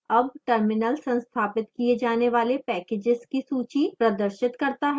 अब terminal संस्थापित किए जाने वाले packages की सूची प्रदर्शित करता है